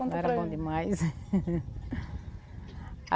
Não era bom demais.